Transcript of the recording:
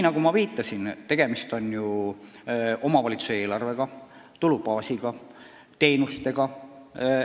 Nagu ma viitasin, tegemist on ju omavalitsuse eelarvega, tulubaasiga, teenustega.